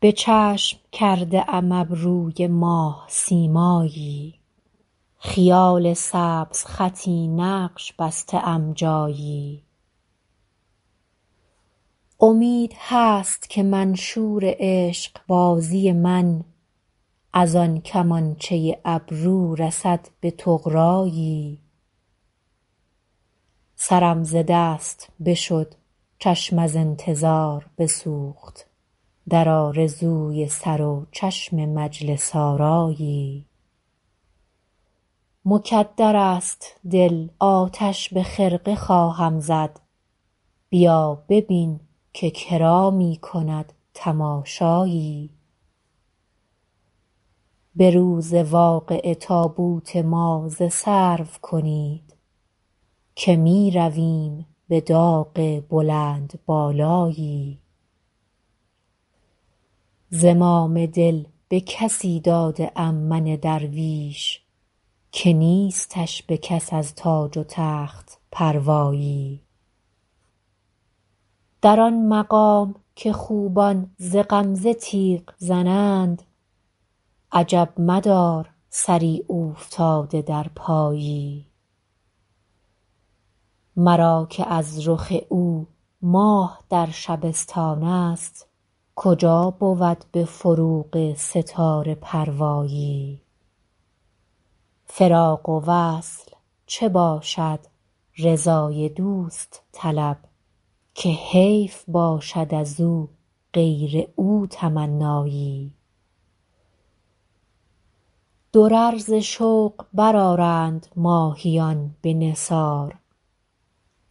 به چشم کرده ام ابروی ماه سیمایی خیال سبزخطی نقش بسته ام جایی امید هست که منشور عشق بازی من از آن کمانچه ابرو رسد به طغرایی سرم ز دست بشد چشم از انتظار بسوخت در آرزوی سر و چشم مجلس آرایی مکدر است دل آتش به خرقه خواهم زد بیا ببین که کرا می کند تماشایی به روز واقعه تابوت ما ز سرو کنید که می رویم به داغ بلندبالایی زمام دل به کسی داده ام من درویش که نیستش به کس از تاج و تخت پروایی در آن مقام که خوبان ز غمزه تیغ زنند عجب مدار سری اوفتاده در پایی مرا که از رخ او ماه در شبستان است کجا بود به فروغ ستاره پروایی فراق و وصل چه باشد رضای دوست طلب که حیف باشد از او غیر او تمنایی درر ز شوق برآرند ماهیان به نثار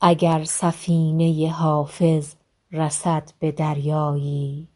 اگر سفینه حافظ رسد به دریایی